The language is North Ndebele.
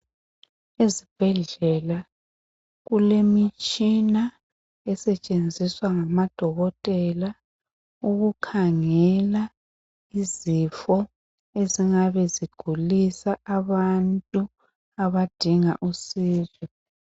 Ezbhedlela kulemitshina esetshenziswa ngamadokotela ukukhangela izifo ezingabe zigulisa abantu abadinga usizo.